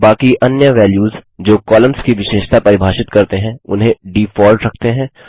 बाकी अन्य वैल्यूस जो कॉलम्स की विशेषता परिभाषित करते हैं उन्हें डीफॉल्ट रखते हैं